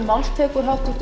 frú forseti háttvirtur